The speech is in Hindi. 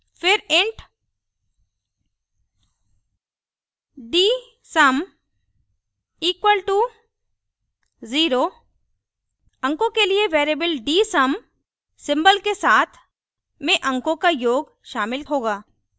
फिर int dsum equal to 0 अंकों के लिए variable dsum सिंबल के साथ में अंकों का योग शामिल होगा